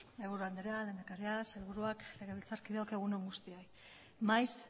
mahaiburu andrea lehendakaria sailburuak legebiltzarkideok egun on guztioi maiz